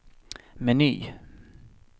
meny